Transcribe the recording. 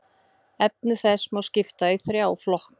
Efni þess má skipta í þrjá flokka.